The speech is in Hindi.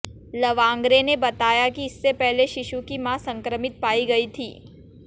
लवांगरे ने बताया कि इससे पहले शिशु की मां संक्रमित पाई गई थी